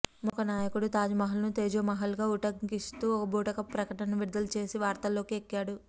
మొన్న ఒక నాయకుడు తాజ్ మహల్ను తేజోమహల్గా ఉటంకిస్తూ ఒక బూటకపు ప్రకటన విడుదల చేసి వార్తల్లోకి ఎక్కాడు